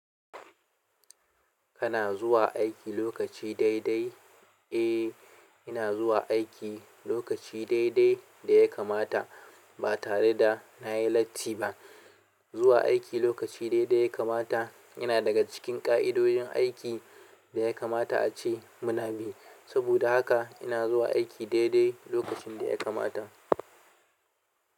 Kana zuwa aiki lokaci daidai? Eh, ina zuwa aiki lokaci daidai da ya kamata ba tare da na yi latti ba. Zuwa aiki lokaci daidai ya kamata yana daga cikin ƙa'idojin aiki da ya kamata ace muna bi. Saboda haka ina zuwa aiki daidai lokacin da ya kamata.